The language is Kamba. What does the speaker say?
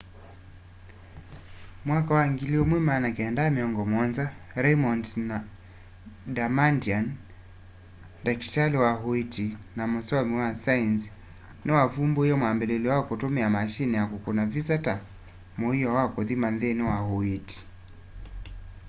mwaka wa 1970 raymond damadian ndakitali wa uiiti na musomi wa saenzi ni wa vumbuie mwambiliilyo wa kutumie mashini ya kukuna visa ta muio wa kuthima nthini wa uiiti